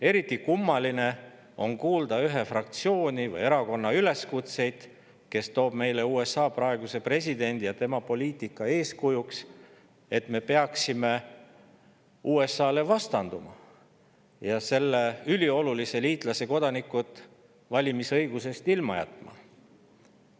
Eriti kummaline on kuulda ühe fraktsiooni või erakonna üleskutseid, kes toob meile eeskujuks USA praeguse presidendi ja tema poliitika, öeldes, et me peaksime USA‑le vastanduma ja selle üliolulise liitlase kodanikud valimisõigusest ilma jätma.